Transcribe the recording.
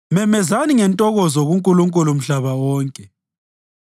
Memezani ngentokozo kuNkulunkulu mhlaba wonke!